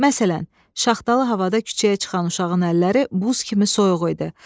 Məsələn, şaxtalı havada küçəyə çıxan uşağın əlləri buz kimi soyuq idi.